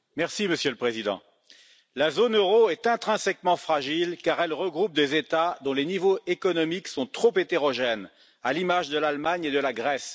Monsieur le Président, la zone euro est intrinsèquement fragile, car elle regroupe des États dont les niveaux économiques sont trop hétérogènes, à l'image de l'Allemagne et de la Grèce.